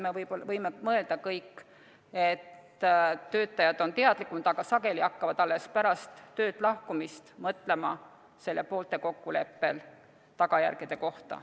Me kõik võime mõelda, et töötajad on teadlikumad, aga sageli hakkavad nad alles pärast töölt lahkumist mõtlema selle poolte kokkuleppel lahkumise tagajärgede kohta.